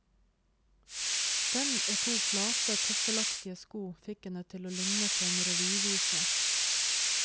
Den og to flate, tøffelaktige sko, fikk henne til å ligne på en revyvise.